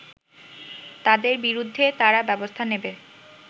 তাদের বিরুদ্ধে তারা ব্যবস্থা নেবে